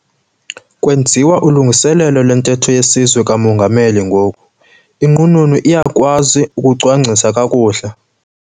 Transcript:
Kwenziwa ulungiselelo lwentetho yesizwe kamongameli ngoku. inqununu iyakwazi ukucwangcisa kakuhle